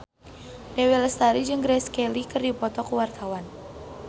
Dewi Lestari jeung Grace Kelly keur dipoto ku wartawan